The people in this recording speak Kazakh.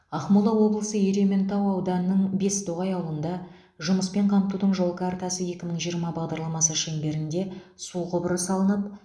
ақмола облысы ерейментау ауданының бестоғай ауылында жұмыспен қамтудың жол картасы екі мың жиырма бағдарламасы шеңберінде су құбыры салынып